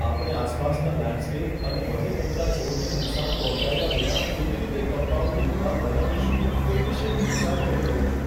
આપણે આસપાસના લેન્ડસ્કેપ અને મને ગમતા છોડને નુકસાન પહોંચાડ્યા વિના કેવી રીતે કમ્પાઉન્ડની દિવાલ બનાવીશું તે વિશે હું વિચાર કરી રહ્યો છું.